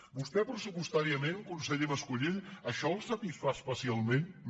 a vostè pres·supostàriament conseller mas·colell això el satisfà especialment no